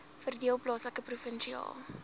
verdeel plaaslik provinsiaal